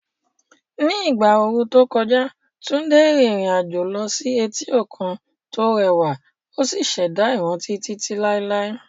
Ní ìgbà ooru tó kọjá, Tunde rìnrìn àjò lọ sí etí òkun tó rẹwà ó sì ṣẹ̀dá ìrántí títí láé.